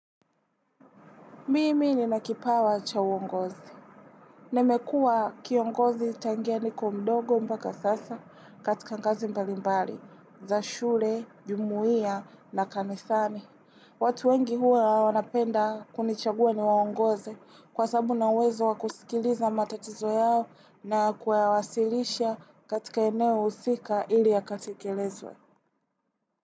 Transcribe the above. Mimi nina kipawa cha uongozi. Nimekua kiongozi tangia niko mdogo mpaka sasa katika ngazi mbalimbali, za shule, jumuia na kanisani. Watu wengi huwa wanapenda kunichagua ni waongoze kwa sababu ninauwezo wa kusikiliza matatizo yao na kuyawasilisha katika eneo husika ili yakatekelezwe.